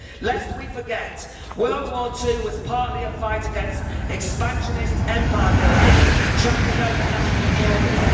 Lest we forget, World War II was partly a fight against expansionist empire building trampling over national borders.